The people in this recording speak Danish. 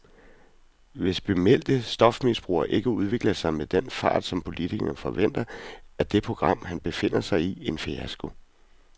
Hvis bemeldte stofmisbrugere ikke udvikler sig med den fart, som politikerne forventer, er det program, han befinder sig i, en fiasko.